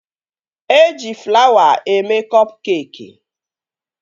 Eji flawa eme kọp keekị